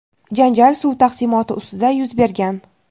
janjal suv taqsimoti ustida yuz bergan.